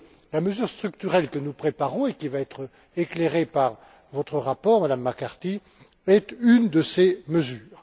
La mesure structurelle que nous préparons, et qui va être éclairée par votre rapport, Madame McCarthy, est une de ces mesures.